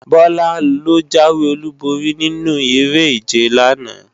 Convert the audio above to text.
Bọlá ló jáwé olúborí nínu eré-ìje lánàá